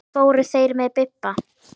Fóru þeir með Bibba?